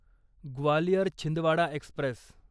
Gwalior Chhindwara Express